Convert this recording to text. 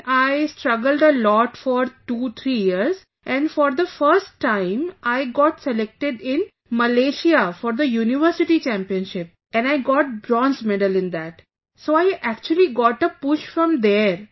Then I struggled a lot for 23 years and for the first time I got selected in Malaysia for the University Championship and I got Bronze Medal in that, so I actually got a push from there